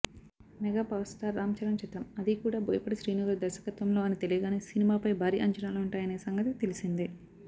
mega power star Ram Charan చిత్రం అదీ కూడా బోయపాటి శ్రీనుగారి దర్శకత్వంలో అని తెలియగానే సినిమాపై భారీ అంచనాలుంటాయనే సంగతి తెలిసిందే